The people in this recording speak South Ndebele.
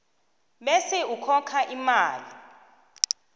bese ukhokha imali